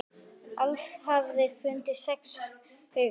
Alls hafa fundist sex haugar.